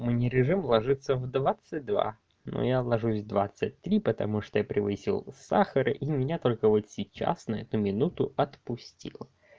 мне режим ложиться в двадцать два но я ложусь в двадцать три потому что я превысил сахар и меня только вот сейчас на эту минуту отпустило